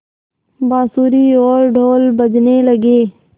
बाँसुरी और ढ़ोल बजने लगे